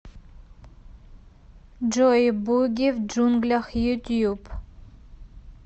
джой буги в джунглях ютьюб